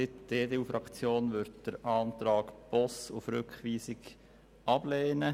Die EDU-Fraktion wird den Antrag Boss auf Rückweisung ablehnen.